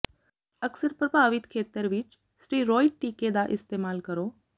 ਅਕਸਰ ਪ੍ਰਭਾਵਿਤ ਖੇਤਰ ਵਿਚ ਸਟੀਰੌਇਡ ਟੀਕੇ ਦਾ ਇਸਤੇਮਾਲ ਕਰੋ